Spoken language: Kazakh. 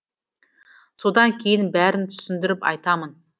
содан кейін бәрін түсіндіріп айтамын